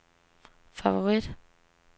favorit